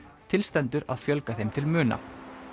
til stendur að fjölga þeim til muna